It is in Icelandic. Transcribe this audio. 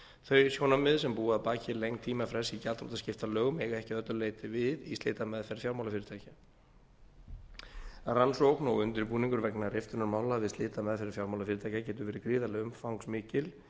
þau sjónarmið sem búa að baki lengd tímafrests í gjaldþrotaskiptalögum eiga ekki að öllu leyti við í slitameðferð fjármálafyrirtækja rannsókn og undirbúningur vegna riftunarmála við slitameðferð fjármálafyrirtækja getur verið gríðarlega umfangsmikill